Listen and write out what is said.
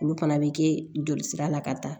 Olu fana bɛ kɛ jolisira la ka taa